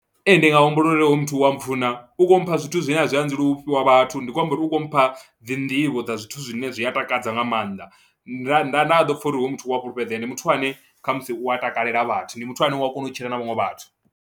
Ee ndi nga humbula uri hoyu muthu wa mpfhuna, u khou mpha zwithu zwine a zwi adzelwi u fhiwa vhathu ndi khou amba uri u khou mpha dzi nḓivho dza zwithu zwine zwi a takadza nga maanḓa, nda nda nda ḓo pfha uri hoyu muthu u a fhulufhedzea ndi muthu ane khabmusi u a takalela vhathu, ndi muthu ane u a kona u tshila na vhaṅwe vhathu.